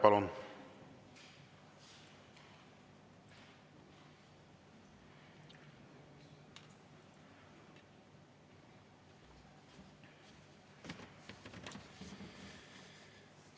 Palun!